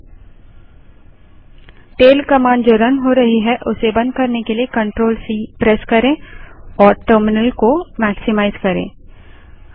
running tail command को बंद करने के लिए CTRLC प्रेस करें और टर्मिनल को मेक्सीमाइज़ करें